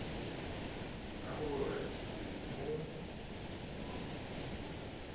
ka ho re se mo